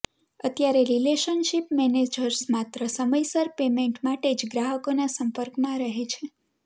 અત્યારે relationship managers માત્ર સમયસર પેમેન્ટ માટે જ ગ્રાહકોના સંપર્કમાં રહે છે